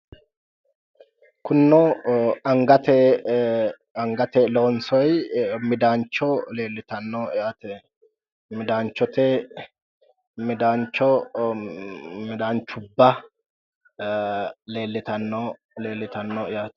Kunino angate loonsoyi midaancho leellitanno yaate. Midaanchote midaancho midaanchubba leellitanno yaate.